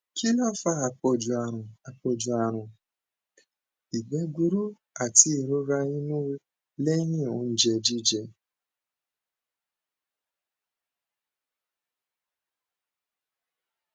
kí ló ń fa àpọju àrùn àpọju àrùn ìgbẹ gburú àti ìrora inú lẹyìn oúnjẹ jíjẹ